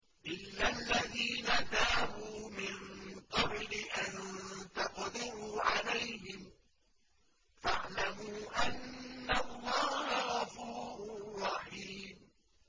إِلَّا الَّذِينَ تَابُوا مِن قَبْلِ أَن تَقْدِرُوا عَلَيْهِمْ ۖ فَاعْلَمُوا أَنَّ اللَّهَ غَفُورٌ رَّحِيمٌ